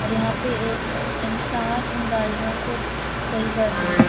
और यहाँ पे एक इंसान इन गाडियों को सही कर रहा है।